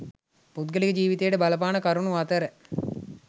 පුද්ගල ජීවිතයට බලපාන කරුණු අතර